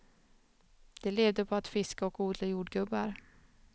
De levde på att fiska och odla jordgubbar.